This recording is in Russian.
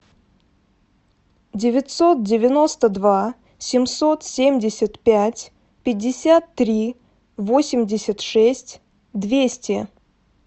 девятьсот девяносто два семьсот семьдесят пять пятьдесят три восемьдесят шесть двести